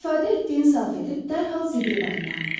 İstifadə etdiyin salfeti dərhal zibil qabına at.